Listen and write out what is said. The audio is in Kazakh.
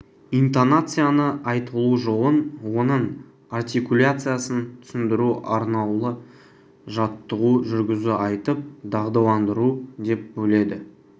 интонацияны айтылу жолын оның артикуляциясын түсіндіру арнаулы жаттығу жүргізу айтып дағдыландыру деп бөледі